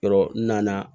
Yɔrɔ n nana